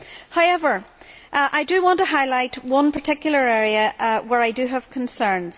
However, I want to highlight one particular area where I have concerns.